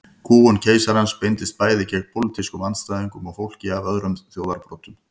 Kúgun keisarans beindist bæði gegn pólitískum andstæðingum og fólki af öðrum þjóðarbrotum.